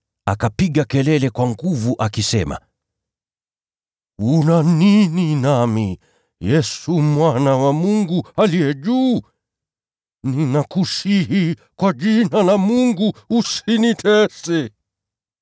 Akapiga kelele kwa nguvu akisema, “Una nini nami, Yesu, Mwana wa Mungu Aliye Juu Sana? Ninakusihi kwa jina la Mungu, usinitese!”